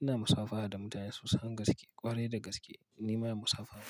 Ina musafaha da mutane sosan gaske, ƙwarai da gaske nima yen musafaha.